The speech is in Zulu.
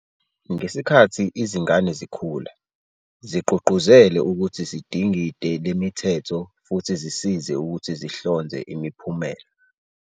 Ngesikhathi izingane zikhula, zigqugquzele ukuthi zidingide lemithetho futhi zisize ukuthi zihlonze imiphumela.